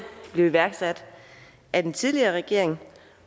blev iværksat af den tidligere regering